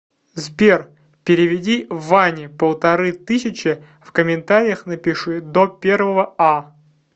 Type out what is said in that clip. сбер переведи ване полторы тысячи в комментариях напиши до первого а